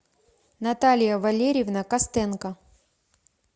наталья валерьевна костенко